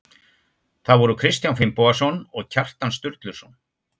Það voru Kristján Finnbogason og Kjartan Sturluson.